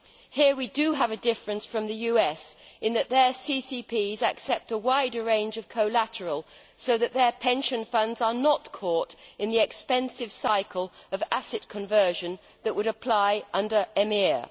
Here we do have a difference from the US in that their CCPs accept a wider range of collateral so that their pension funds are not caught in the expensive cycle of asset conversion that would apply under EMIR.